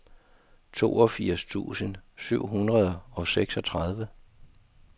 toogfirs tusind syv hundrede og seksogtredive